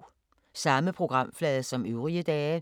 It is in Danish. Samme programflade som øvrige dage